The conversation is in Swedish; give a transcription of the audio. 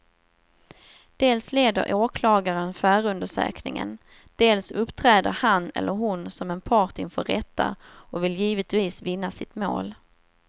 Dels leder åklagaren förundersökningen, dels uppträder han eller hon som en part inför rätta och vill givetvis vinna sitt mål.